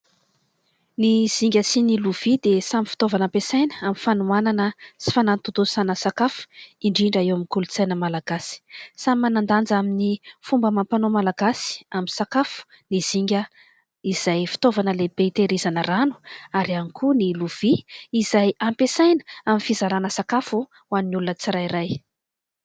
Ny zinga sy ny lovia dia samy fitaovana ampiasaina amin'ny fanomanana sy fanantotosana sakafo indrindra eo amin'ny kolotsaina malagasy. Samy manandanja amin'ny fomba amam-panao malagasy amin'ny sakafo ny zinga, izay fitaovana lehibe hitehirizana rano, ary ihany koa ny lovia izay ampiasaina amin'ny fizarana sakafo ho an'ny olona tsirairay.